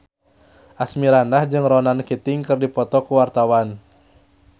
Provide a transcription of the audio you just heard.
Asmirandah jeung Ronan Keating keur dipoto ku wartawan